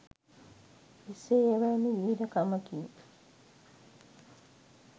එසේ එවැනි වීර කමකින්